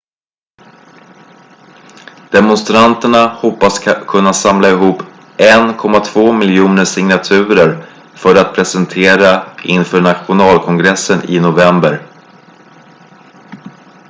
demonstranterna hoppas kunna samla ihop 1,2 miljoner signaturer för att presentera inför nationalkongressen i november